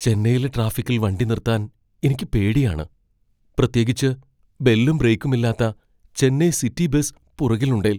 ചെന്നൈയിലെ ട്രാഫിക്കിൽ വണ്ടി നിർത്താൻ എനിക്ക് പേടിയാണ്. പ്രത്യേകിച്ച് ബെല്ലും ബ്രേക്കുമില്ലാത്ത ചെന്നൈ സിറ്റി ബസ് പുറകിലുണ്ടേൽ.